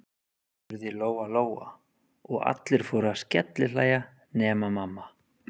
spurði Lóa-Lóa, og allir fóru að skellihlæja nema mamma.